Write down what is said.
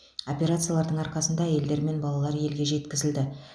операциялардың арқасында әйелдер мен балалар елге жеткізілді